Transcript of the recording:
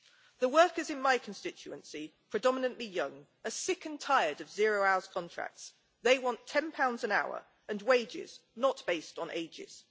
The workers in my constituency predominantly young are sick and tired of zero hours contracts, they want GBP 10 an hour and wages not based on ages.